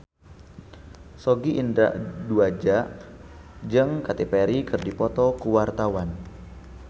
Sogi Indra Duaja jeung Katy Perry keur dipoto ku wartawan